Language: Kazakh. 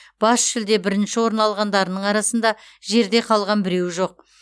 бас жүлде бірінші орын алғандарының арасында жерде қалған біреуі жоқ